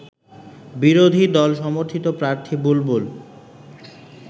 বিরোধী দল সমর্থিত প্রার্থী বুলবুল